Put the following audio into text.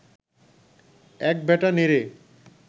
এক বেটা নেড়ে